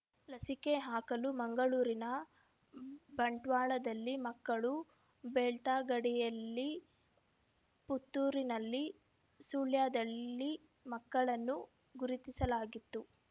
ಲಸಿಕೆ ಹಾಕಲು ಮಂಗಳೂರಿನ ಬಂಟ್ವಾಳದಲ್ಲಿ ಮಕ್ಕಳು ಬೆಳ್ತಂಗಡಿಯಲ್ಲಿ ಪುತ್ತೂರಿನಲ್ಲಿ ಸುಳ್ಯದಲ್ಲಿ ಮಕ್ಕಳನ್ನು ಗುರುತಿಸಲಾಗಿತ್ತು